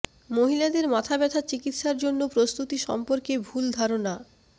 মহিলাদের মাথা ব্যাথা চিকিত্সার জন্য প্রস্তুতি সম্পর্কে ভুল ধারণা